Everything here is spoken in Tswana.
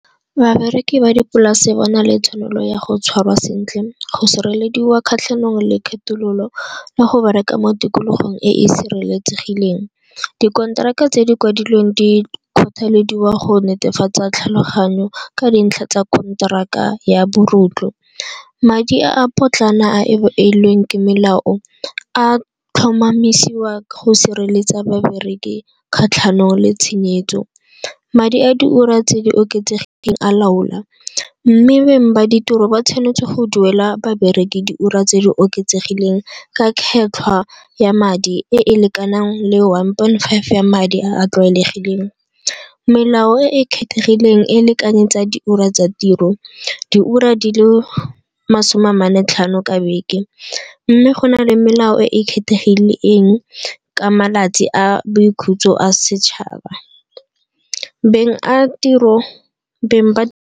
Babereki ba dipolase bona le tshwanelo ya go tshwarwa sentle, go sirelediwa kgatlhanong le kgethololo le go bereka mo tikologong e e sireletsegileng. Dikonteraka tse di kwadilweng di kgothalediwa go netefatsa tlhaloganyo ka dintlha tsa konteraka ya . Madi a a potlana a ke melao a tlhomamisiwa ka go sireletsa babereki kgatlhanong le tshenyetso. Madi a di ura tse di oketsegileng a laola mme beng ba ditiro ba tshwanetse go duela babereki di ura tse di oketsegileng ka kgetlhwa ya madi e e lekanang le one point five ya madi a a tlwaelegileng. Melao e e kgethegileng e lekane tsa di ura tsa tiro, diura di le masome a mane tlhano ka beke mme go na le melao e e kgethegileng eng ka malatsi a boikhutso a setšhaba. beng ba.